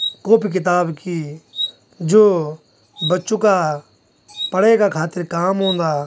कॉपी किताब की जो बच्चों का पडे का खातिर काम औंदा।